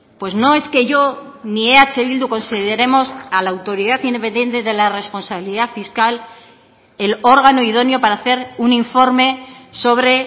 pues no es que yo ni eh bildu consideremos a la autoridad independiente de la responsabilidad fiscal el órgano idóneo para hacer un informe sobre